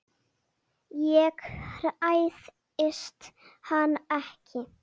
Ég hræðist hann ekki.